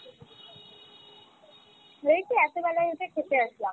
এইযে এত বেলা এসে খেতে আসলাম